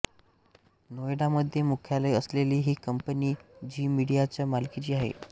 नोएडामध्ये मुख्यालय असलेली ही कंपनी झी मीडियाच्या मालकीची आहे